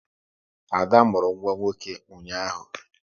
Ada mụrụ nwa nwoke ụnyaahụ